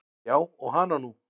Já og hana nú.